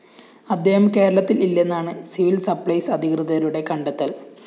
ഇദ്ദേഹം കേരളത്തില്‍ ഇല്ലെന്നാണ് സിവില്‍സപ്ലൈസ് അധികൃതരുടെ കണ്ടെത്തല്‍